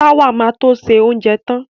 Táwà ma to ṣe oúnjẹ tán